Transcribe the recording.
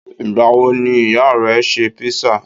Ìgbà wo ni ìyá rẹ ṣe písà?